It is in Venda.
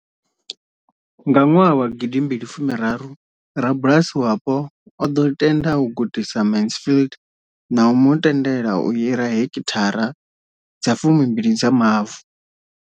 Nga 2013, rabulasi wapo o ḓo tenda u gudisa Mansfield na u mu tendela u hira heki thara dza fumi mbili dza mavu.